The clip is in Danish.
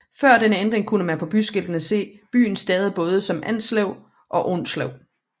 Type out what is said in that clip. Før denne ændring kunne man på byskiltene se byen stavet både som Avnslev og Aunslev